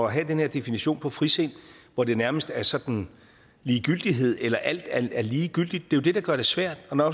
have den her definition på frisind hvor det nærmest er sådan ligegyldighed eller at alt er lige gyldigt det er jo det der gør det svært og når